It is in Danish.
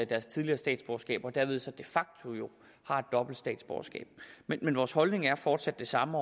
deres tidligere statsborgerskab og derved så de fakto jo har et dobbelt statsborgerskab men vores holdning er fortsat den samme